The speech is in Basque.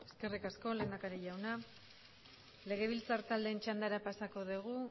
eskerrik asko lehendakari jauna legebiltzar taldeen txandara pasako dugu